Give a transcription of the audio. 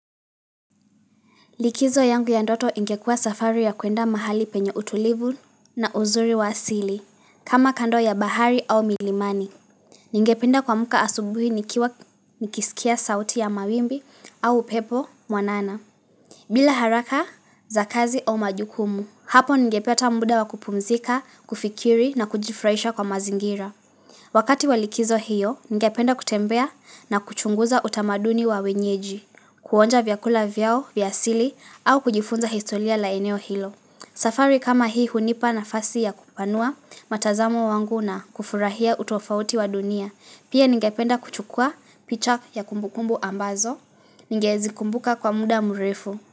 Likizo yangu ya ndoto ingekua safari ya kuenda mahali penye utulivu na uzuri waasili. Kama kando ya bahari au milimani. Ninge penda kuamka asubuhi nikisikia sauti ya mawimbi au upepo mwanana. Bila haraka za kazi au majukumu. Hapo ningepata mda wa kupumzika, kufikiri na kujifraisha kwa mazingira. Wakati wa likizo hiyo, ninge penda kutembea na kuchunguza utamaduni wa wenyeji. Kuonja vyakula vyao, vyasili, au kujifunza historia la eneo hilo. Safari kama hii hunipa na fasi ya kupanua matazamo wangu na kufurahia utofauti wa dunia. Pia ningependa kuchukua picha ya kumbukumbu ambazo, ningezikumbuka kwa muda mrefu.